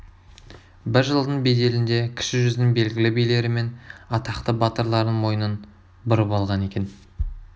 бір жылдың беделінде кіші жүздің белгілі билері мен атақты батырларының мойынын бұрып болған екен